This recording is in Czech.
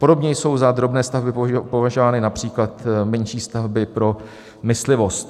Podobně jsou za drobné stavby považovány například menší stavby pro myslivost.